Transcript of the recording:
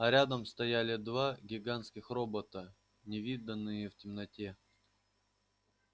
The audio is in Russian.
а рядом стояли два гигантских робота невиданные в темноте